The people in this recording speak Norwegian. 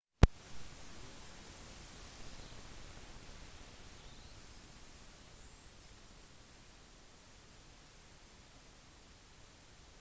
28 år gammel hadde vidal gått fra sevilla til barçelona for tre sesonger siden